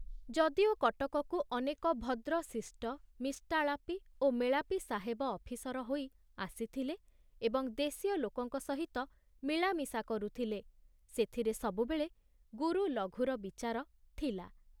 ଯଦିଓ କଟକକୁ ଅନେକ ଭଦ୍ର ଶିଷ୍ଟ ମିଷ୍ଟାଳାପୀ ଓ ମେଳାପୀ ସାହେବ ଅଫିସର ହୋଇ ଆସିଥିଲେ ଏବଂ ଦେଶୀୟ ଲୋକଙ୍କ ସହିତ ମିଳାମିଶା କରୁଥିଲେ, ସେଥିରେ ସବୁବେଳେ ଗୁରୁ ଲଘୁର ବିଚାର ଥିଲା।